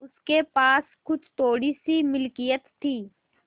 उसके पास कुछ थोड़ीसी मिलकियत थी